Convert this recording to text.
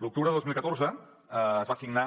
l’octubre de dos mil catorze es va signar